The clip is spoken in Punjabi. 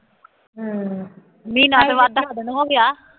ਹੂੰ ਮਹੀਨਾ ਬਾਅਦ ਤਾਂ ਖਤਮ ਹੋ ਗਿਆ